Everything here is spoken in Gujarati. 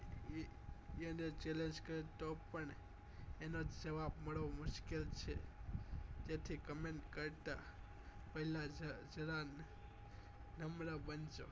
અને એના જ જવાબ મળવા મુશ્કિલ છે જેથી comment કરતા પહેલા જરા જરા